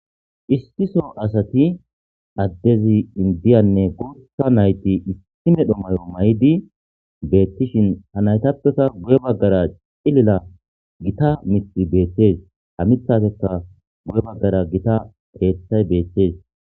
Issiso asati adez indiyanne gutha nayti issi medhdho mayo mayidi betishthin ha naytapekka guye baggara cilila gita miththay beettes ha miththaziskka guye baggara keththay betes